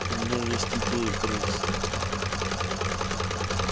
у меня есть идея грейс